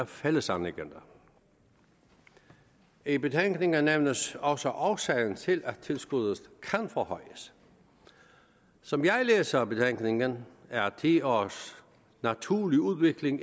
fællesanliggender i betænkningen nævnes også også årsagen til at tilskuddet kan forhøjes som jeg læser betænkningen er ti års naturlig udvikling